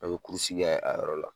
A bɛ kurusi a yɔrɔ la